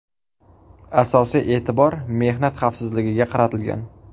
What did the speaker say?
Asosiy e’tibor mehnat xavfsizligiga qaratilgan.